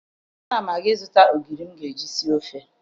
Ana m aga ịzụta ogiri m ga-eji sie ofe